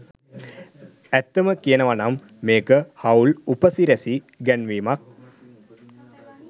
ඇත්තම කියනවනම් මේක හවුල් උපසිරැසි ගැන්වීමක්.